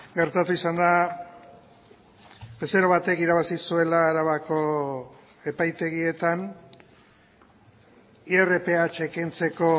gertatu izan da bezero batek irabazi zuela arabako epaitegietan irph kentzeko